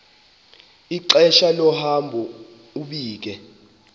ixesha lohambo ubike